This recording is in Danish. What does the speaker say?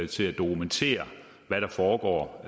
til at dokumentere hvad der foregår og